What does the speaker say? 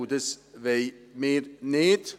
Und das wollen wir nicht.